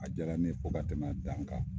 A jaara ne ye fo ka tɛmɛ a dan kan.